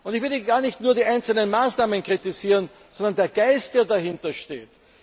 Ich will hier gar nicht nur die einzelnen Maßnahmen kritisieren, sondern den Geist, der dahinter steht.